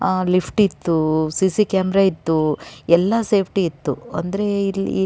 ಆಹ್ಹ್ lift ಇತ್ತು C C camera ಇತ್ತು ಎಲ್ಲ ಸೇಫ್ಟಿ ಇತ್ತು ಅಂದರೆ ಇಲ್ಲಿ--